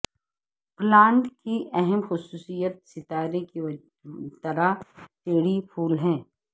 plant کی اہم خصوصیت ستارے کی طرح ٹیری پھول ہے